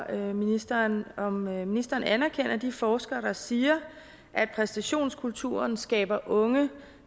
at høre ministeren om ministeren anerkender de forskere der siger at præstationskulturen skaber unge